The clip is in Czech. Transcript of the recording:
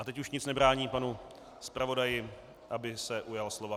A teď už nic nebrání panu zpravodaji, aby se ujal slova.